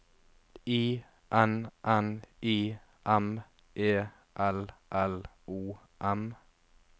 I N N I M E L L O M